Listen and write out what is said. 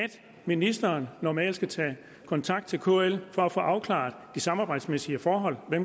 ministeren normalt skal tage kontakt til kl for at få afklaret det samarbejdsmæssige forhold med